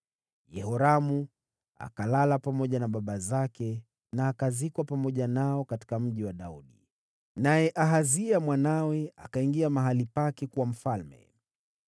Yehoramu akalala pamoja na baba zake, na akazikwa pamoja nao katika Mji wa Daudi. Naye Ahazia mwanawe akawa mfalme baada yake.